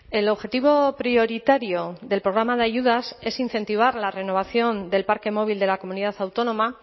el objetivo prioritario del programa de ayudas es incentivar la renovación del parque móvil de la comunidad autónoma